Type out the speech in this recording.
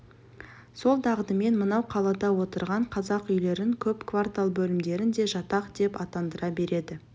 сол дағдымен мынау қалада отырған қазақ үйлерін көп квартал бөлімдерін де жатақ деп атандыра береді